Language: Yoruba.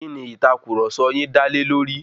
Kíni ìtàkurọ̀sọ yin dá lé lórí?